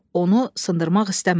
Onu sındırmaq istəmədi.